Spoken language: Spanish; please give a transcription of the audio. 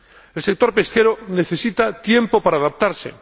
El sector pesquero necesita tiempo para adaptarse.